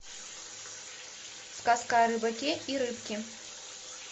сказка о рыбаке и рыбке